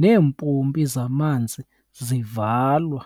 neempompo zamanzi zivalwa.